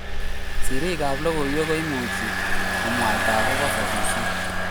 Sirik ab logoiywek ko imuchi komwaita akoba sasishet